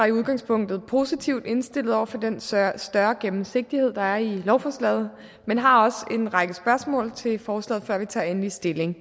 i udgangspunktet positivt indstillet over for den større større gennemsigtighed der er i lovforslaget men har også en række spørgsmål til forslaget før vi tager endelig stilling